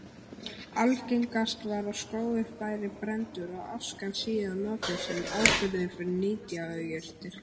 Algengast var að skógur væri brenndur og askan síðan notuð sem áburður fyrir nytjajurtir.